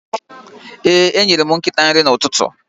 Ee, enyere m nkịta nri n'ụtụtụ.